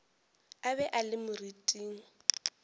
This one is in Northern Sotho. a be a le moriting